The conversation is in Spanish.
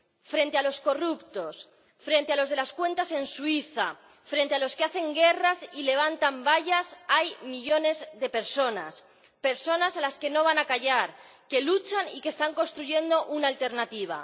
Frente a los corruptos, frente a los de las cuentas en Suiza, frente a los que hacen guerras y levantan vallas, hay millones de personas, personas a las que no van a callar, que luchan y que están construyendo una alternativa.